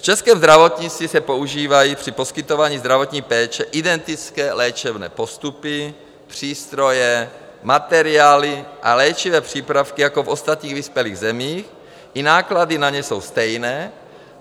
V českém zdravotnictví se používají při poskytování zdravotní péče identické léčebné postupy, přístroje, materiály a léčivé přípravky jako v ostatních vyspělých zemích, i náklady na ně jsou stejné.